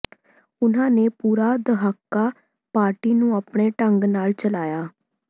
ਉਨ੍ਹਾਂ ਨੇ ਪੂਰਾ ਦਹਾਕਾ ਪਾਰਟੀ ਨੂੰ ਆਪਣੇ ਢੰਗ ਨਾਲ ਚਲਾਇਆ